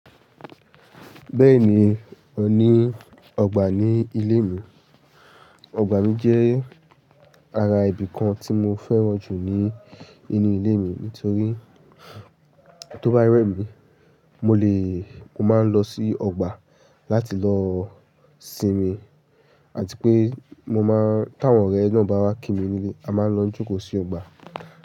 Bẹ́ẹ̀ni, o ní ọgbà ní ilé mi. Ọgbà mi jẹ́ ara ibi kan tí mo fẹ́ràn jù ní inú ilé mi nítorí tó bá rẹ́ mi, mo le, mo máa ń lọ sí ọgbà láti lọ sinmi àti pé mo máa ń, tí àwọn ọ̀rẹ́ náà bá wá kí mi nílé, a máa ń lọ jókòó sí ọgbà.